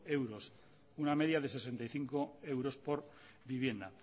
euros una media de sesenta y cinco euros por vivienda